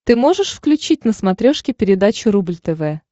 ты можешь включить на смотрешке передачу рубль тв